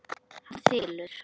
Hann þylur